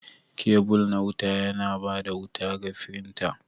Kebul na wuta yana ba da wuta ga firinta.